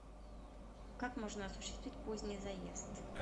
как можно осуществить поздний заезд